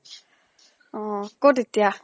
অহ কʼত এতিয়া?